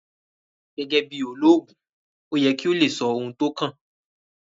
Gẹ́gẹ́ bí olóògùn ó yẹ kí o lè sọ ohun tó kàn